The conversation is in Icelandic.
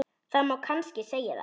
Það má kannski segja það.